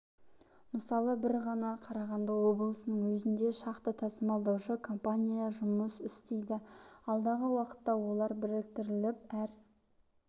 мысалы бір ғана қарағанды облысының өзінде шақты тасымалдаушы компания жұмыс істейді алдағы уақытта олар біріктіріліп әр